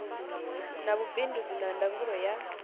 na vhubindudzi na ndangulo ya